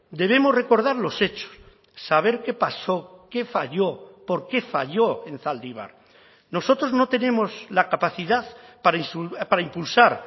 debemos recordar los hechos saber qué pasó que falló por qué falló en zaldibar nosotros no tenemos la capacidad para impulsar